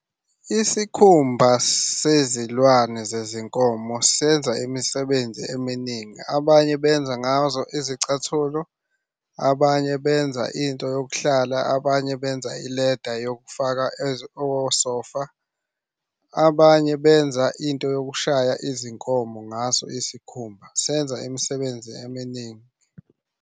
Isikhumba sezilwane zezinkomo senza imisebenzi eminingi. Abanye benza ngazo izicathulo, abanye benza into yokuhlala, abanye benza ileda yokufaka osofa. Abanye benza into yokushaya izinkomo ngaso isikhumba. Senza imisebenzi eminingi.